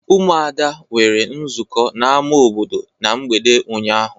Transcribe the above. Ụmụada nwere nzukọ n'ama obodo na mgbede ụnyaahụ.